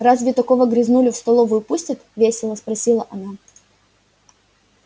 разве такого грязнулю в столовую пустят весело спросила она